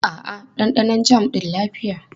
A'a, ɗanɗanon jam ɗin lafiya.